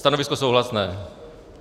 Stanovisko souhlasné.